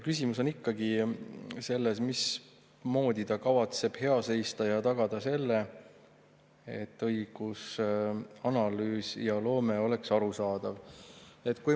Küsimus on ikkagi sellest, mismoodi ta kavatseb hea seista selle eest ja tagada selle, et õigusanalüüs ja -loome oleksid arusaadavad.